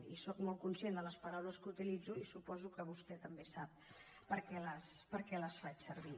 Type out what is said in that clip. i sóc molt conscient de les paraules que utilitzo i suposo que vostè també sap per què les faig servir